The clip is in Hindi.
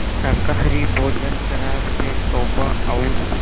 शाकाहारी भोजन शराब से तौबा और